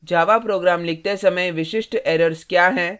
java program लिखते समय विशिष्ट errors क्या हैं और